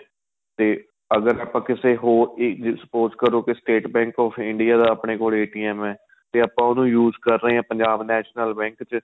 ਤੇ ਅਗ਼ਰ ਆਪਾਂ ਕਿਸੇ ਹੋਰ ਹੀ spouse ਕਰੋ State Bank of India ਦਾ ਆਪਣੇ ਕੋਲ ਜਦੋਂ ਏ ਤੇ ਆਪਾਂ ਉਹਨੂੰ use ਕਰ ਰਹੇ ਹਾਂ Punjab National Bank ਚ